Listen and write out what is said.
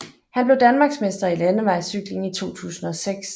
Han blev Danmarksmester i landevejscykling i 2006